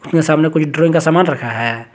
यहां सामने कुछ ड्राइंग का सामान रखा है।